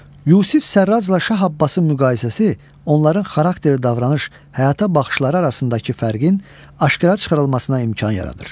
Yusif Sərrazla Şah Abbasın müqayisəsi onların xarakteri, davranış, həyata baxışları arasındakı fərqin aşkara çıxarılmasına imkan yaradır.